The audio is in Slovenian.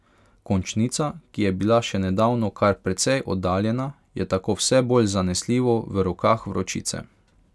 Končnica, ki je bila še nedavno kar precej oddaljena, je tako vse bolj zanesljivo v rokah vročice.